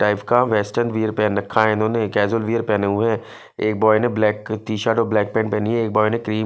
type का western wear पहन रखा इन्होने कजोल वियर पहने एक बोय ने ब्लैक टीशर्ट ब्लैक जींस पहनी है बोय ने क्रीम --